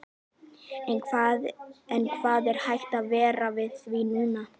En hvað er hægt að gera við því núna?